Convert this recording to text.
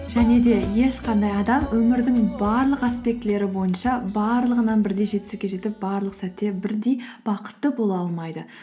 және де ешқандай адам өмірдің барлық аспектілері бойынша барлығынан бірдей жетістікке жетіп барлық сәтте бірдей бақытты бола алмайды